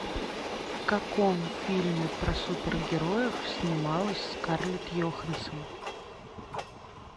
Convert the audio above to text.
в каком фильме про супергероев снималась скарлетт йоханссон